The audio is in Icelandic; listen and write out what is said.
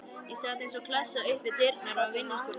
Ég sat eins og klessa upp við dyrnar á vinnuskúrnum.